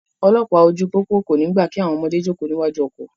Olọ́pàá ojú pópó kò ní gbà kí àwọn ọmọdé jókòó níwájú ọkọ̀.